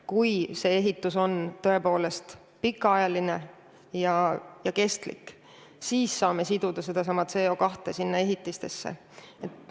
Kui need ehitised peavad tõepoolest pikka aega vastu, siis saame CO2 nendesse siduda.